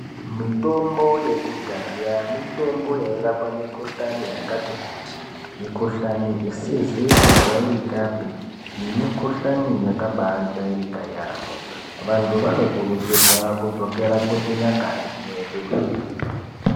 Mitombo yekudhaya mitombo yairapa mikuhlani yakati kuti mukuhlani isizi kujairikapi nemikuhlani yakabajairika yambo Vantu vanokurudzirwa kudzokera kuchinyakare chedu.